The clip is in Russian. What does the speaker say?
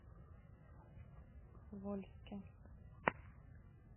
вольске